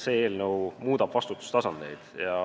See eelnõu muudab vastutustasandeid ja